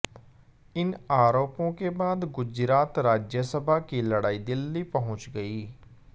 इन आरोपों के बाद गुजरात राज्यसभा की लडाई दिल्ली पहुंच गई